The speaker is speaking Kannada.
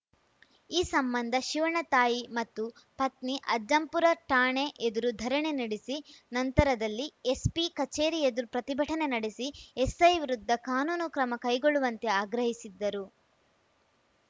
ಈ ಸಂಬಂಧ ಶಿವಣ್ಣ ತಾಯಿ ಮತ್ತು ಪತ್ನಿ ಅಜ್ಜಂಪುರ ಠಾಣೆ ಎದುರು ಧರಣಿ ನಡೆಸಿ ನಂತರದಲ್ಲಿ ಎಸ್ಪಿ ಕಚೇರಿ ಎದುರು ಪ್ರತಿಭಟನೆ ನಡೆಸಿ ಎಸೈ ವಿರುದ್ಧ ಕಾನೂನು ಕ್ರಮ ಕೈಗೊಳ್ಳುವಂತೆ ಆಗ್ರಹಿಸಿದ್ದರು